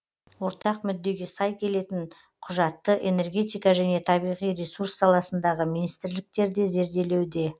ортақ мүддеге сай келетін құжатты энергетика және табиғи ресурс саласындағы министрліктер де зерделеуде